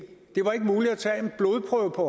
to